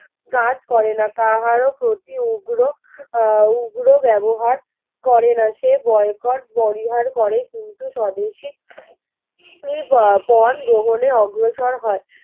কাজ করে না কাহার প্রতি উগ্র আহ ব্যবহার করে না সে বয়কট বরিহার করে কিন্তু স্বদেশী ই বা পণ গ্রহণের অগ্রসর হয়